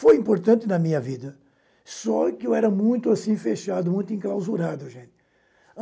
Foi importante na minha vida, só que eu era muito assim fechado, muito enclausurado gente.